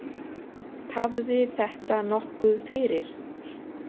Tafði þetta nokkuð fyrir.